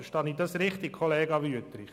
Verstehe ich das richtig, Kollege Wüthrich?